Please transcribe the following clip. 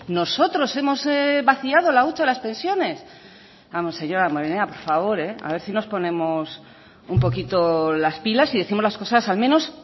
nosotros hemos vaciado la hucha de las pensiones vamos señor damborenea por favor a ver si nos ponemos un poquito las pilas y décimos las cosas al menos